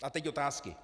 A teď otázky.